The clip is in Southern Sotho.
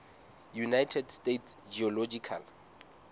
united states geological